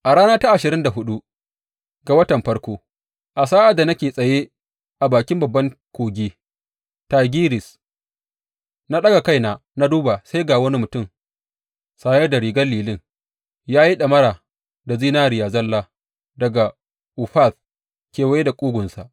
A rana ta ashirin da huɗu ga watan farko, a sa’ad da nake tsaye a bakin babban kogi, Tigris, na ɗaga kaina na duba sai ga wani mutum tsaye sanye da rigar lilin, ya yi ɗamara da zinariya zalla daga Ufaz kewaye da ƙugunsa.